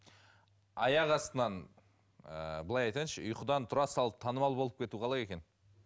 аяқ астынан ыыы былай айтайыншы ұйқыдан тұра салып танымал болып кету қалай екен